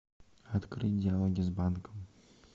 открыть диалоги с банком